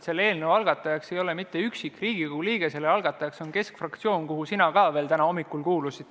Selle eelnõu algatajaks ei ole mitte üksik Riigikogu liige, vaid selle algatajaks on Keskerakonna fraktsioon, kuhu ka sina veel täna hommikul kuulusid.